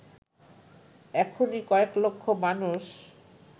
এখনই কয়েক লক্ষ মানুষ